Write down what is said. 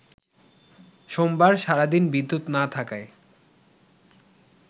সোমবার সারাদিন বিদ্যুৎ না থাকায়